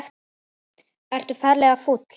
Ertu ferlega fúll?